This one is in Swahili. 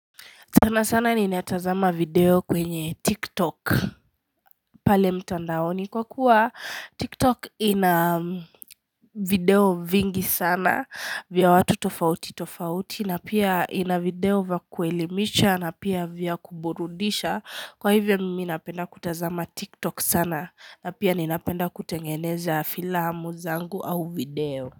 Sana sana ninatazama video kwenye tiktok pale mtandaoni kwa kuwa tiktok ina video vingi sana vya watu tofauti tofauti na pia ina video vya kuelimisha na pia vya kuburudisha kwa hivyo mimi napenda kutazama tiktok sana na pia ninapenda kutengeneza filamu zangu au video.